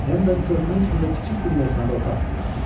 Hennon körpünün üstündə kiçik bir meyxanada otaq tutmuşdu.